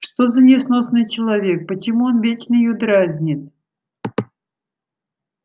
что за несносный человек почему он вечно её дразнит